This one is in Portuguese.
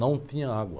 Não tinha água.